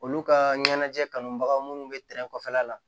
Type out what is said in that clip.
Olu ka ɲɛnajɛ kanubaga minnu bɛ tɛrɛn kɔfɛla la